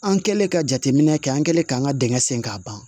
An kɛlen ka jateminɛ kɛ an kɛlen k'an ka dingɛ sen k'a ban